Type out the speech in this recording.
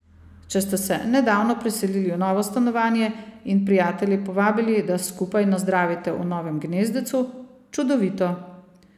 Če ste se nedavno preselili v novo stanovanje in prijatelje povabili, da skupaj nazdravite v novem gnezdecu, čudovito.